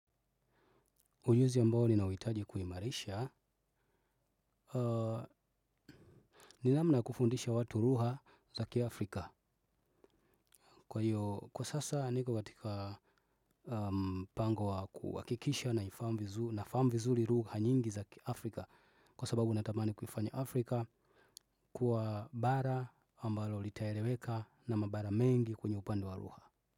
Ujuzi ambao ninauitaji kuhimarisha. Ninamna kufundisha watu rugha zaki Afrika. Kwa sasa nika watika mpango wa kuhakikisha na famu vizuli rugha nyingi za ki Afrika. Kwa sababu natamani kuifanya Afrika. Kuwa bara ambalo litaeleweka na mabara mengi kwenye upande wa lugha.